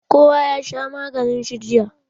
Kowa ya sha maganin shi jiya